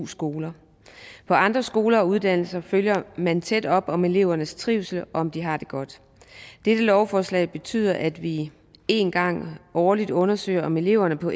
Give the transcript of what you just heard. skoler på andre skoler og uddannelser følger man tæt op om elevernes trivsel og om de har det godt dette lovforslag betyder at vi en gang årligt undersøger om eleverne på